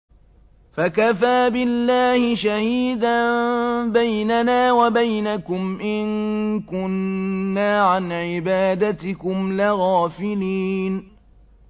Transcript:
فَكَفَىٰ بِاللَّهِ شَهِيدًا بَيْنَنَا وَبَيْنَكُمْ إِن كُنَّا عَنْ عِبَادَتِكُمْ لَغَافِلِينَ